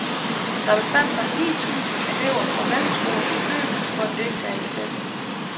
Der befandt sig ni tusind elever fra mellemskolen i byen for at deltage i festen.